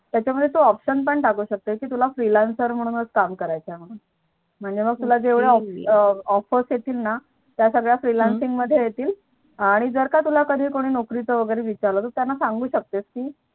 त्याच्या मध्ये तू Option पण टाकू शकते कि तुला Freelancer म्हणूनच काम करायचं आहे. म्हंणून. म्हणजे तुला जेवढ्या Offers येतील ना त्या सर्व Freelancing चमध्ये येतील आणि कधी तुला कोणी नोकरी च विचारलं तर त्याना सांगू शकते कि